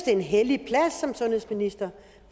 er en hellig plads som sundhedsminister